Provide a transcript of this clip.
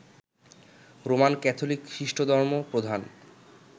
Roman Catholic খ্রিস্টধর্ম প্রধান